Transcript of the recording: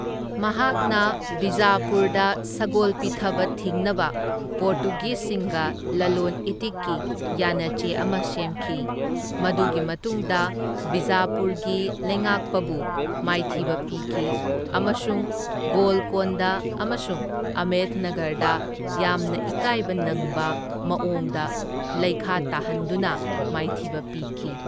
ꯃꯍꯥꯛꯅ ꯕꯤꯖꯥꯄꯨꯔꯗ ꯁꯒꯣꯜ ꯄꯤꯊꯕ ꯊꯤꯡꯅꯕ ꯄꯣꯔꯇꯨꯒꯤꯁꯁꯤꯡꯒ ꯂꯂꯣꯟ ꯏꯇꯤꯛꯀꯤ ꯌꯥꯅꯆꯦ ꯑꯃ ꯁꯦꯝꯈꯤ, ꯃꯗꯨꯒꯤ ꯃꯇꯨꯡꯗ ꯕꯤꯖꯥꯄꯨꯔꯒꯤ ꯂꯩꯉꯥꯛꯄꯕꯨ ꯃꯥꯏꯊꯤꯕ ꯄꯤꯈꯤ ꯑꯃꯁꯨꯡ ꯒꯣꯜꯀꯣꯟꯗ ꯑꯃꯁꯨꯡ ꯑꯍꯃꯦꯗꯅꯒꯔꯗ ꯌꯥꯝꯅ ꯏꯀꯥꯏꯕ ꯅꯪꯕ ꯃꯋꯣꯡꯗ ꯂꯩꯈꯥ ꯇꯥꯍꯟꯗꯨꯅ ꯃꯥꯏꯊꯤꯕ ꯄꯤꯈꯤ꯫